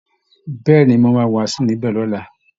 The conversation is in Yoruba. Bẹ́ẹ̀ ni, mo máa wàásù níbẹ̀ lọ́la